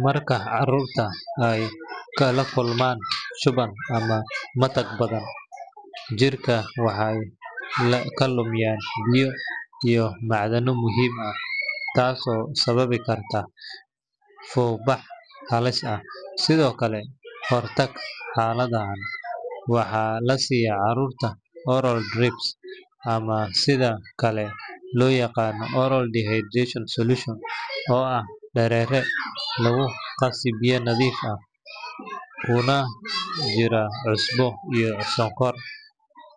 Marka carruurta ay la kulmaan shuban ama matag badan, jirka waxay ka lumiyaan biyo iyo macdano muhiim ah, taasoo sababi karta fuuq bax halis ah. Si looga hortago xaaladdan, waxaa la siiyaa carruurta oral drips ama sida kale loo yaqaan oral rehydration solution, oo ah dareere lagu qaso biyo nadiif ah kuna jira cusbo iyo sonkor